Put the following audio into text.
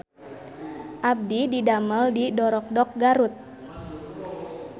Abdi didamel di Dorokdok Garut